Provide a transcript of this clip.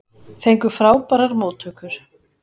Fengu frábærar móttökur